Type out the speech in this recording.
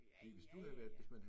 Ja ja ja ja